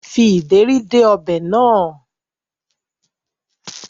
Fi ìdérí dé ọbẹ̀ náà